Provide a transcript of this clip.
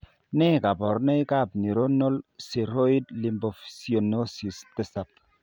Nee kabarunoikab Neuronal ceroid lipofuscinosis 7?